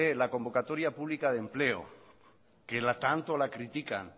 la convocatoria pública de empleo que tanto la critican